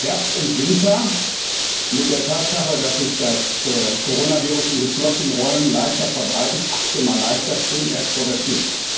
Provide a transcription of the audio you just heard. Herbst und Winter, mit der Tatsache, dass sich das Coronavirus in geschlossenen Räumen leichter verbreitet achtzehn Mal leichter stehen erst vor der Tür.